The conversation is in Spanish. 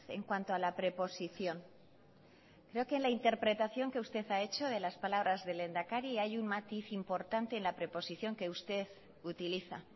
en cuanto a la preposición creo que en la interpretación que usted ha hecho de las palabras del lehendakari hay un matiz importante en la preposición que usted utiliza